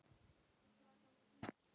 Mamma, hann er kominn!